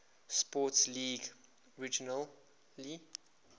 sports league originally